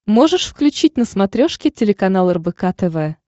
можешь включить на смотрешке телеканал рбк тв